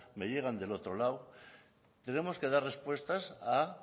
me llegan del otro lado tenemos que dar respuestas a